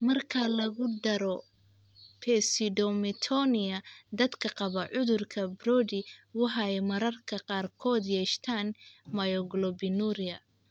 Marka lagu daro pseudomyotonia, dadka qaba cudurka Brody waxay mararka qaarkood yeeshaan myoglobinuria.